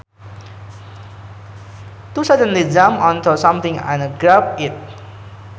To suddenly jump onto something and grab it